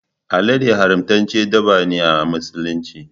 Alade haramtaccen dabba ne a musulunci